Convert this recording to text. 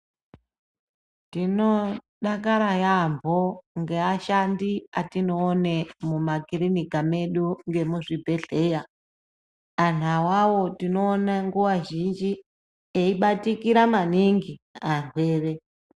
Ndinodakara yaambo ngevashandi vandinoone mumakirinika medu nemuzvibhedhlera anhu awawo ndinoone nguwa zhinji eibatikira maningi arwere.